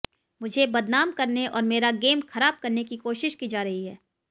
मुझे बदनाम करने और मेरा गेम खराब करने की कोशिश की जा रही है